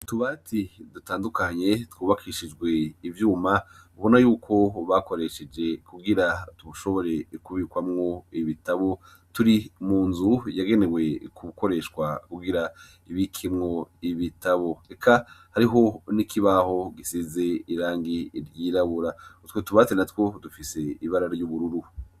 Utubati dutandukanye, twubakishijwe ivyuma ubona yuko bakoresheje kugira dushobore kubikwamwo ibitabu, turi munzu yagenewe gukoreshwa Kugira ibikwemwo ibitabu, eka hariho n'ikibaho gisize irangi ryirabura. Utwo tubati natwo dufise ibara ry'ubururu.